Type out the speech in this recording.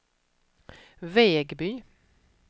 Vegby